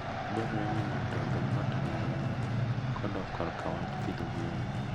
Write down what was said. Dwarore ni ng'ato obed motang' ahinya kodok korka wach pidho gwen.